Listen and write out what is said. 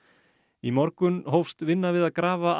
í morgun hófst vinna við að grafa